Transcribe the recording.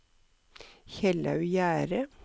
Kjellaug Gjerde